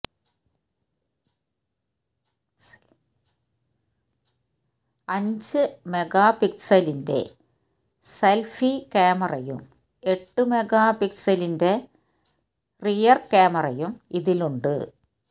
അഞ്ച് മെഗാപിക്സലിന്റെ സെല്ഫി ക്യാമറയും എട്ട് മെഗാപിക്സലിന്റെ റിയര് ക്യാമറയും ഇതിലുണ്ട്ട